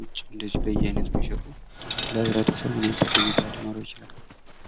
ውጪ እንዲሁ በየአይነት የሚሸጡ ለህብረተሰቡ ምን አይነት ጠቀሜታ ሊኖረው ይችላል?